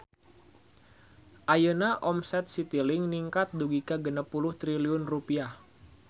Ayeuna omset Citilink ningkat dugi ka 60 triliun rupiah